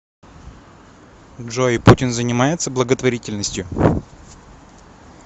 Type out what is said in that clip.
джой путин занимается благотворительностью